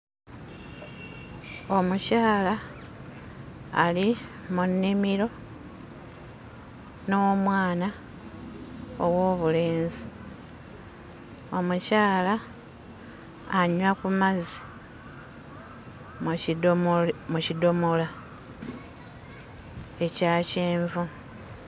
Omukyala ali mu nnimiro n'omwana ow'obulenzi. Omukyala anywa ku mazzi mu kidomola mu kidomola ekya kyenvu.